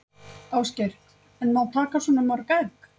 Ásgeir: En má taka svona mörg egg?